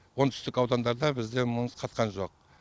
оңтүстік аудандарда бізде мұз қатқан жоқ